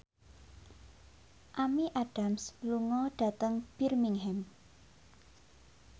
Amy Adams lunga dhateng Birmingham